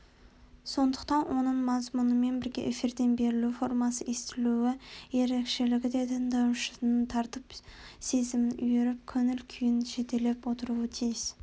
сондықтан оның мазмұнымен бірге эфирден берілу формасы естілу ерекшелігі де тыңдаушысын тартып сезімін үйіріп көңіл-күйін жетелеп отыруы тиіс